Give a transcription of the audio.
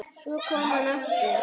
Svo kom hann aftur.